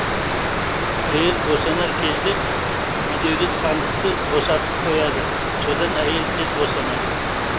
әйел босанар кезде үйдегі сандықты босатып қояды сонда әйел тез босанады